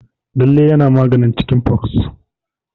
Lalle yana maganin cikin fox.